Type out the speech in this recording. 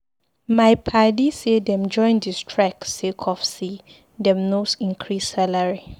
My padi say dem join di strike sake of sey dem no increase salary.